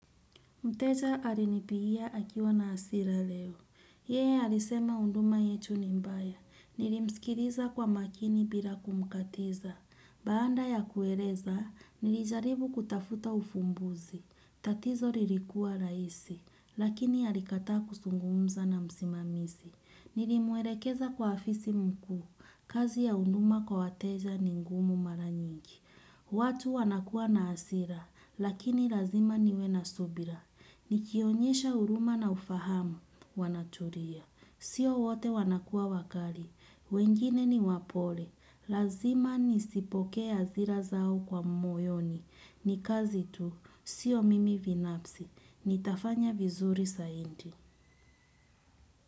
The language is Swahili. Mteja alinipigia akiwa na hasira leo. Yeye alisema huduma yetu ni mbaya. Nilimsikiliza kwa makini bila kumkatiza. Baada ya kueleza, nilijaribu kutafuta ufumbuzi. Tatizo lilikuwa rahisi, lakini alikataa kuzungumza na msimamizi. Nilimwelekeza kwa afisi mkuu, kazi ya huduma kwa wateja ni ngumu mara nyingi. Watu wanakuwa na hasira, lakini lazima niwe na subira. Nikionyesha huruma na ufahamu, wanatulia. Sio wote wanakuwa wakali, wengine ni wapole. Lazima nisipokee hasira zao kwa moyoni. Ni kazi tu, sio mimi binafsi, nitafanya vizuri zaidi.